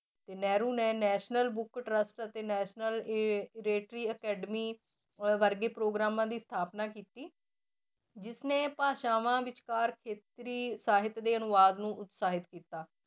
ਤੇ ਨਹਿਰੂ ਨੇ National Book Trust ਅਤੇ ਨੈਸ਼ਨਲ ਇਹ ਅਕੈਡਮੀ ਅਹ ਵਰਗੇ ਪ੍ਰੋਗਰਾਮਾਂ ਦੀ ਸਥਾਪਨਾ ਕੀਤੀ ਜਿਸ ਨੇ ਭਾਸ਼ਾਵਾਂ ਵਿਚਕਾਰ ਖੇਤਰੀ ਸਾਹਿਤ ਦੇ ਅਨੁਵਾਦ ਨੂੰ ਉਤਸਾਹਿਤ ਕੀਤਾ।